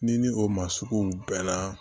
Ni ni o ma suguw bɛnna